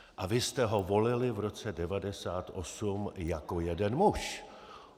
A vy jste ho volili v roce 1998 jako jeden muž.